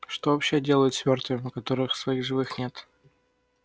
что вообще делают с мёртвыми у которых своих живых нет